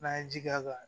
N'an ye ji k'a kan